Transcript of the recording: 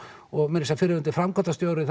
og meira að segja fyrrverandi framkvæmdastjóri